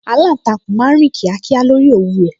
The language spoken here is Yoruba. Aláǹtakùn máa ń rìn kíákíá lórí òwú rẹ̀